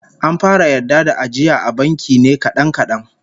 An fara yarda da ajiya a banki ne kadan kadan